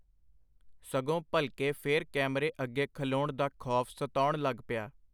ਸਗੋਂ ਭਲਕੇ ਫੇਰ ਕੈਮਰੇ ਅੱਗੇ ਖਲੋਣ ਦਾ ਖੌਫ ਸਤਾਉਣ ਲਗ ਪਿਆ.